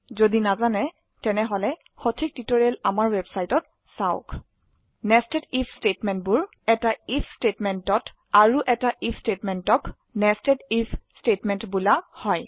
যদি নাজানে তেনেহলে সঠিক টিউটৰিয়েল আমাৰ ৱেবচাইটত চাওক নেষ্টেড আইএফ স্টেটমেন্টবোৰ আনয় এটা আইএফ স্টেটমেন্টেত আৰু এটা আইএফ স্টেটমেন্টক নেষ্টেড আইএফ স্টেটমেন্ট বোলা হয়